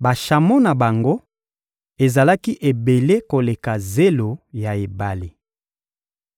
Bashamo na bango ezalaki ebele koleka zelo ya ebale.